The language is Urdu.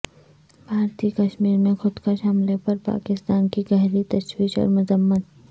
بھارتی کشمیر میں خودکش حملے پر پاکستان کی گہری تشویش اور مذمت